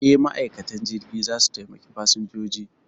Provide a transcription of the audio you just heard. E, ma'aikatan jirgi za su taimaki fasinjoji.